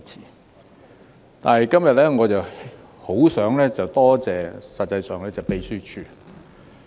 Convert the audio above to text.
實際上，今天我很想多謝立法會秘書處。